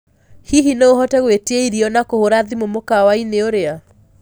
hĩhĩ no uhote gũĩtĩa ĩrĩo na kuhura thĩmũ mũkawaĩni uria